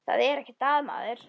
Það er ekkert að maður.